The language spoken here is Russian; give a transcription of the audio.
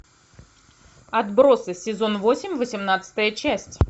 отбросы сезон восемь восемнадцатая часть